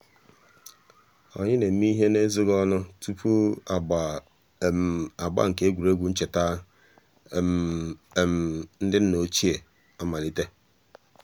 ànyị̀ nà-émè íhè n'èzòghì ònù túpù àgbà àgbà nke ègwè́ré́gwụ̀ nchètà um ńdí um nnà um òchìè àmàlítè.